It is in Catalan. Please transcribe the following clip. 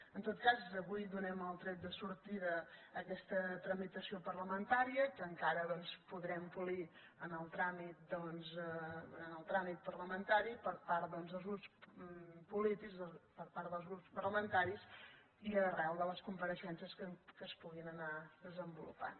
en tot cas avui donem el tret de sortida en aquesta tramitació parlamentària que encara doncs podrem polir durant el tràmit parlamentari per part doncs dels grups polítics per part dels grups parlamentaris i arran de les compareixences que es puguin anar desenvolupant